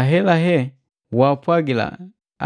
Ahelahe waapwagila